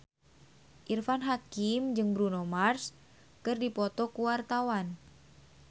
Irfan Hakim jeung Bruno Mars keur dipoto ku wartawan